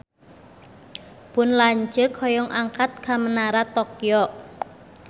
Pun lanceuk hoyong angkat ka Menara Tokyo